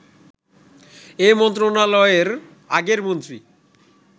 এ মন্ত্রণালয়ের আগের মন্ত্রী